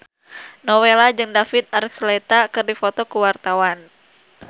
Nowela jeung David Archuletta keur dipoto ku wartawan